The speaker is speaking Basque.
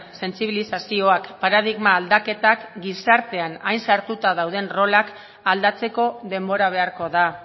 sentsibilizazioak paradigma aldaketak gizartean hain sartuta dauden rolak aldatzeko denbora beharko da